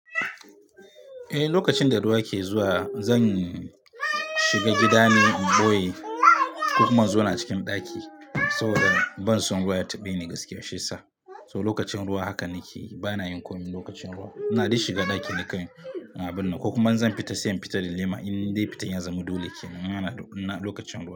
Eh, lokacin da ruwa ke zuwa zan shiga gida ne in ɓoye, ko kuma in zo na cikin ɗaki. Saboda ban son ruwa ya taɓe ni gaskiya shiyasa. So lokacin ruwa haka nake, bana yin komai lokacin ruwa. Na da shi shiga ɗaki na kai, na binne. Ko kuma zan fita sai in fita da lema in dai fitan ya zama dole kenan. Yana da kunna lokacin ruwan.